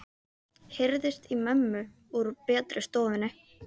heyrðist í mömmu úr betri stofunni.